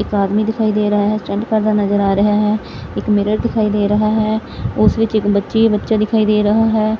ਇੱਕ ਆਦਮੀ ਦਿਖਾਈ ਦੇ ਰਹਾ ਹੈ ਸਟੰਟ ਕਰਦਾ ਨਜ਼ਰ ਆ ਰਿਹਾ ਹੈ ਇੱਕ ਮਿਰਰ ਦਿਖਾਈ ਦੇ ਰਹਾ ਹੈ ਉਸ ਵਿੱਚ ਇੱਕ ਬੱਚੀ ਬੱਚਾ ਦਿਖਾਈ ਦੇ ਰਹਾ ਹੈ।